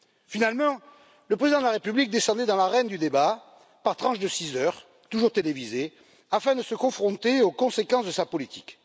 Finalement, le président de la République descendit dans l'arène du débat par tranches de six heures, toujours télévisées, afin de se confronter aux conséquences de sa politique.